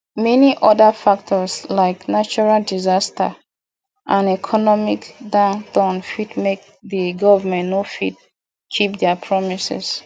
many oda factors like natural disaster and economic downturn fit make di government no fit keep their promises